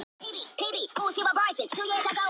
En öðru miðar vel.